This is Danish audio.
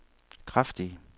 kraftige